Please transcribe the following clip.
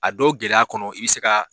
A dɔw gɛlɛya kɔnɔ i bi se ka